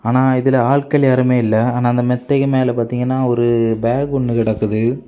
ஆனா இதுல ஆட்கள் யாருமே இல்ல ஆனா அந்த மெத்தைக்கு மேல பாத்தீங்கன்னா ஒரு பேக் ஒன்னு கிடைக்குது.